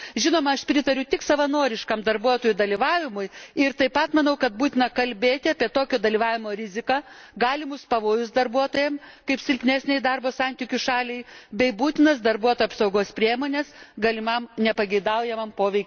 Žinoma, aš pritariu tik savanoriškam darbuotojų dalyvavimui ir taip pat manau, kad būtina kalbėti apie tokio dalyvavimo riziką, galimus pavojus darbuotojams kaip silpnesnei darbo santykių šaliai, bei būtinos darbuotojų apsaugos priemones galimam nepageidaujamam poveikiui išvengti.